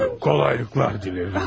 Kolaylıklar diləyirəm.